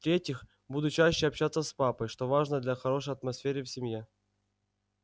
в-третьих буду чаще общаться с папой что важно для хорошей атмосфере в семье